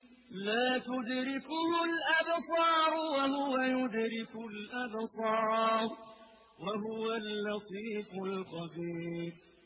لَّا تُدْرِكُهُ الْأَبْصَارُ وَهُوَ يُدْرِكُ الْأَبْصَارَ ۖ وَهُوَ اللَّطِيفُ الْخَبِيرُ